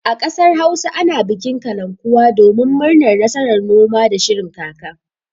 A ƙasar Hausa ana bikin kalankuwa domin murnar nasarar noma da shirin kaka.